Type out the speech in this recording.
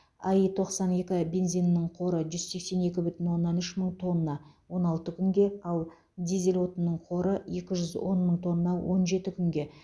аи тоқсан екі бензинінің қоры жүз сексен екі бүтін оннан үш мың тонна он алты күнге ал дизель отынының қоры екі жүз он мың тонна он жеті күнге